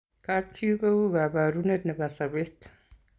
kap chi ko u kabarunet nebo sabet